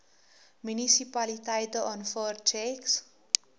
munisipaliteite aanvaar tjeks